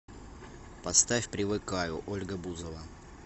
поставь привыкаю ольга бузова